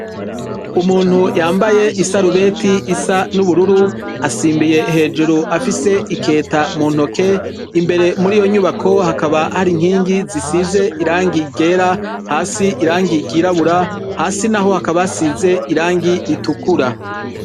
Umuntu yambaye isarubeti isa n'ubururu asimbiye hejuru afise iketa mu ntoke, imbere muri iyo nyubako hakaba hari inkingi zisize irangi ryera hasi irangi ryirabura, hasi naho hakaba hasize irangi ritukura.